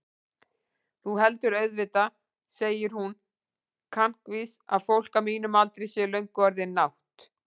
Þú heldur auðvitað, segir hún kankvís, að fólk á mínum aldri sé löngu orðið nátt-